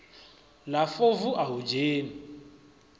la fovu a hu dzhenwi